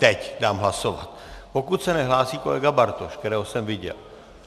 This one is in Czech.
Teď dám hlasovat, pokud se nehlásí kolega Bartoš, kterého jsem viděl.